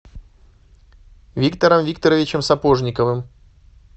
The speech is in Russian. виктором викторовичем сапожниковым